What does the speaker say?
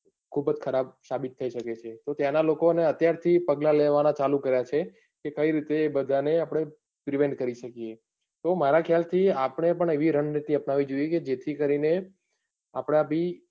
ખુબ જ ખરાબ સાબિત થઇ શકે છે. તો ત્યાંના લોકોએ અત્યાર થી પગલાં લેવાના ચાલુ કરી દીધા છે. કે તે બધા ને આપણે prepare કરી શકીયે. તો મારા ખ્યાલ થી આપડે પણ એવી રણનીતિ અપનાવી જોઈએ કે જેથી કરીને આપણા બી,